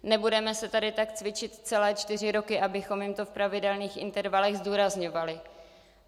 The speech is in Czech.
Nebudeme se tady tak cvičit celé čtyři roky, abychom jim to v pravidelných intervalech zdůrazňovali.